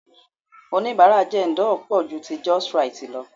Onibara Jendol pò ju ti Justrite lọ.